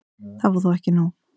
Það var þó ekki nóg.